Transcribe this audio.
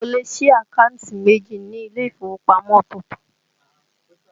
O lè sí àkántì méjì ni ilé ìfowópamọ́ ọ̀tọ̀ọ̀tọ̀